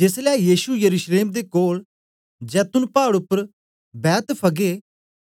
जेसलै यीशु यरूशलेम दे कोल जैतून पाड़ उपर बैतफगे